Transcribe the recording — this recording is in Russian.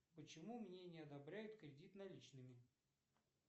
почему мне не одобряют кредит наличными